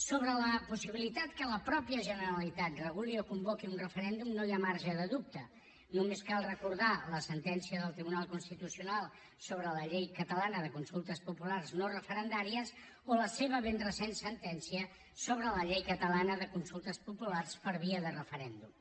sobre la possibilitat que la mateixa generalitat reguli o convoqui un referèndum no hi ha marge de dubte només cal recordar la sentència del tribunal constitucional sobre la llei catalana de consultes populars no referendàries o la seva ben recent sentència sobre la llei catalana de consultes populars per via de referèndum